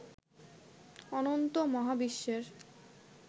অনন্ত মহাবিশ্বের